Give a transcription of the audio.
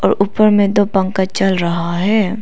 ऊपर में दो पंखा चल रहा है।